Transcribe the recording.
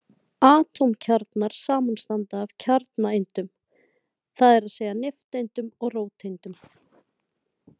Atómkjarnar samanstanda af kjarnaeindum, það er að segja nifteindum og róteindum.